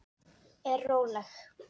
Er róleg.